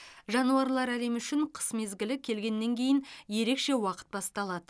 жануарлар әлемі үшін қыс мезгілі келгеннен кейін ерекше уақыт басталады